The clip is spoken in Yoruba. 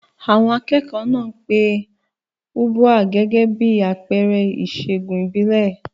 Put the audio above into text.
Àwọn akẹ́kọ̀ọ́ náà pe Ubwa gẹ́gẹ́ bí àpẹẹrẹ ìṣègùn ìbílẹ̀.